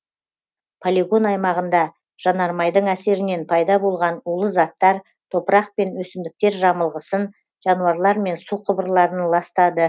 полигон аймағында жанармайдың әсерінен пайда болған улы заттар топырақ пен өсімдіктер жамылғысын жануарлар мен су құбырларын ластады